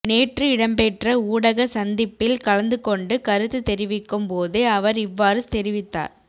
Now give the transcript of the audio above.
நேற்று இடம்பெற்ற ஊடக சந்திப்பில் கலந்து கொண்டு கருத்து தெரிவிக்கும் போதே அவர் இவ்வாறு தெரிவித்தார்